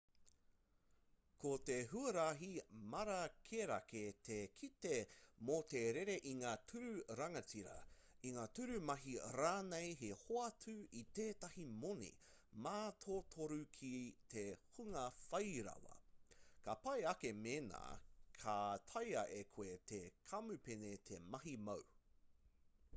ko te huarahi mārakerake te kite mō te rere i ngā tūru rangatira i ngā tūru mahi rānei he hoatu i tētahi moni mātotoru ki te hunga whairawa ka pai ake mēnā ka taea e koe tō kamupene te mahi māu